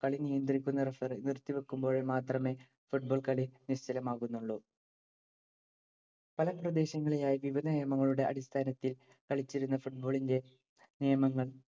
കളി നിയന്ത്രിക്കുന്ന referee നിർത്തി വയ്ക്കുമ്പോഴോ മാത്രമേ football കളി നിശ്ചലമാകുന്നുള്ളു. പല പ്രദേശങ്ങളിലായി വിവിധ നിയമങ്ങളുടെ അടിസ്ഥാനത്തിൽ കളിച്ചിരുന്ന football ഇന്‍റെ നിയമങ്ങൾ